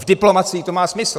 V diplomacii to má smysl.